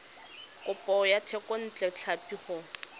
kopo ya thekontle tlhapi go